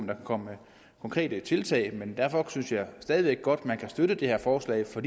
der kan komme med konkrete tiltag derfor synes jeg stadig væk godt at man kan støtte det her forslag for